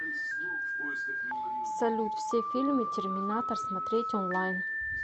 салют все фильмы терминатор смотреть онлайн